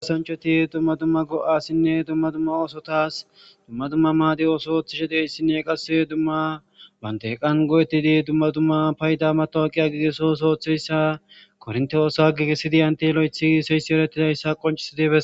Gaasancheti dumma dumma go7asinne dumma dumma oosotas dumma dumma maadi oosooththishe deyssinne qasse dumma bante qan go7etidi dumma dumma payda matoa qiya gigesos ooththeyssa kornte oosa gigesidiyanti lo7ethii seysi erettidayssa qoncisidifes.